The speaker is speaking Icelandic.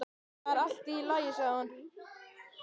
Það er allt í lagi sagði hún.